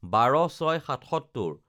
১২/০৬/৭৭